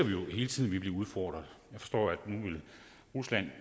vi bliver udfordret jeg forstår at rusland